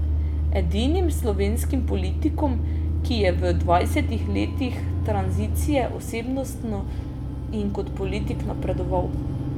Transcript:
Edinim slovenskim politikom, ki je v dvajsetih letih tranzicije osebnostno in kot politik napredoval.